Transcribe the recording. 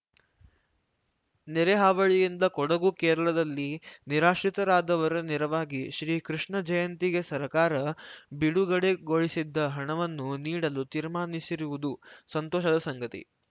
ನೆರೆ ಹಾವಳಿಯಿಂದ ಕೊಡಗು ಕೇರಳದಲ್ಲಿ ನಿರಾಶ್ರಿತರಾದವರ ನೆರವಿಗಾಗಿ ಶ್ರೀ ಕೃಷ್ಣ ಜಯಂತಿಗೆ ಸರ್ಕಾರ ಬಿಡುಗಡೆಗೊಳಿಸಿದ್ದ ಹಣವನ್ನು ನೀಡಲು ತೀರ್ಮಾನಿಸಿರುವುದು ಸಂತೋಷದ ಸಂಗತಿ